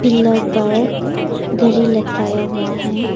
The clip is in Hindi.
पिलर पर घड़ी लटकाया हुआ है।